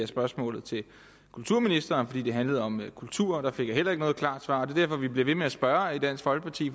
spørgsmålet til kulturministeren fordi det handlede om kultur der fik jeg heller ikke noget klart svar det er derfor vi bliver ved med at spørge i dansk folkeparti